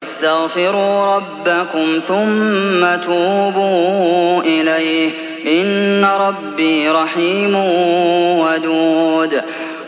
وَاسْتَغْفِرُوا رَبَّكُمْ ثُمَّ تُوبُوا إِلَيْهِ ۚ إِنَّ رَبِّي رَحِيمٌ وَدُودٌ